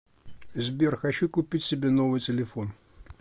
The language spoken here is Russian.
сбер хочу купить себе новый телефон